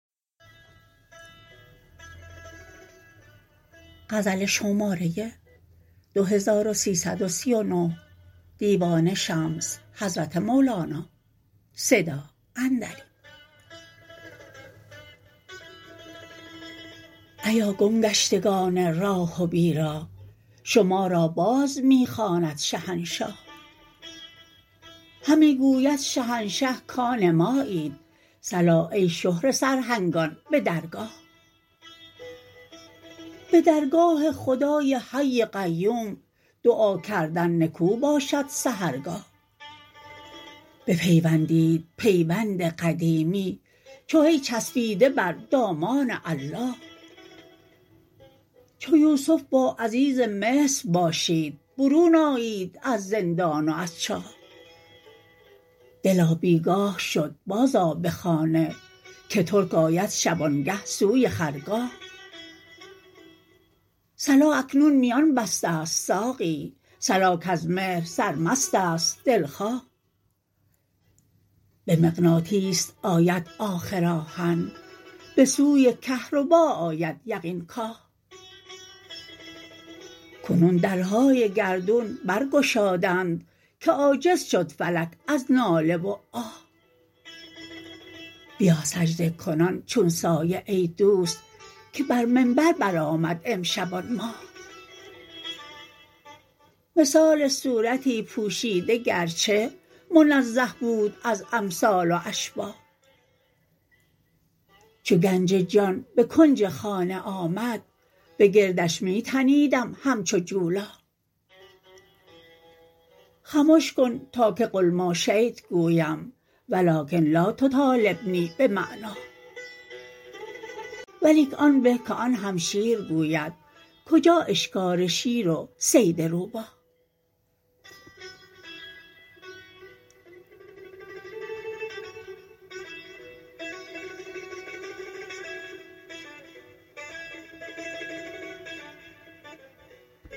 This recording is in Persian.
ایا گم گشتگان راه و بیراه شما را باز می خواند شهنشاه همی گوید شهنشه کان مایید صلا ای شهره سرهنگان به درگاه به درگاه خدای حی قیوم دعا کردن نکو باشد سحرگاه بپیوندید پیوند قدیمی چو هی چفسیده بر دامان الله چو یوسف با عزیز مصر باشید برون آیید از زندان و از چاه دلا بی گاه شد بازآ به خانه که ترک آید شبانگه سوی خرگاه صلا اکنون میان بسته ست ساقی صلا کز مهر سرمست است دلخواه به مغناطیس آید آخر آهن به سوی کهربا آید یقین کاه کنون درهای گردون برگشادند که عاجز شد فلک از ناله و آه بیا سجده کنان چون سایه ای دوست که بر منبر برآمد امشب آن ماه مثال صورتی پوشیده گرچه منزه بود از امثال و اشباه چو گنج جان به کنج خانه آمد به گردش می تنیدم همچو جولاه خمش کن تا که قلماشیت گویم ولکن لا تطالبنی بمعناه ولیک آن به که آن هم شیر گوید کجا اشکار شیر و صید روباه